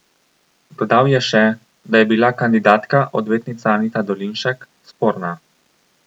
Dodal je še, da je bila kandidatka, odvetnica Anita Dolinšek, sporna.